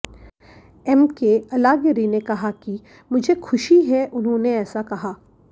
MK Alagiri ने कहा कि मुझे खुशी है उन्होंने ऐसा कहा